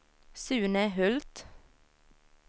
Sune Hult